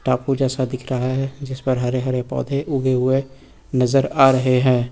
टापू जैसा दिख रहा है जिस पर हरे हरे पौधे उगे हुए नजर आ रहे हैं।